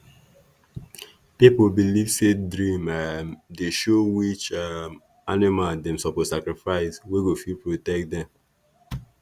people believe say dream um dey show which um animal dem suppose sacrifice wey go fit protect them